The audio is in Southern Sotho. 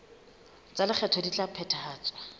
tsa lekgetho di ka phethahatswa